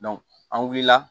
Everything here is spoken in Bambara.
an wulila